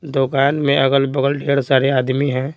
दुकान में अगल-बगल ढेर सारे आदमी हैं।